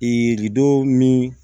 Ee lidon min